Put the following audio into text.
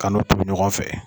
Ka n'o tobi ɲɔgɔn fɛ